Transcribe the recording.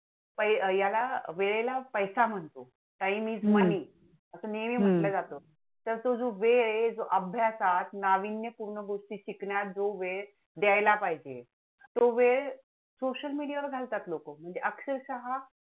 Time is money असं नेहमी म्हंटल जातं हम्म तर तो जो वेळ आहे, अभ्यासात नाविन्यपूर्ण गोष्टीत शिकण्यात जो वेळ द्यायला पाहिजे, तो वेळ social media वर घालतात लोकं म्हणजे अक्षरशः